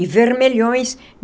E vermelhões.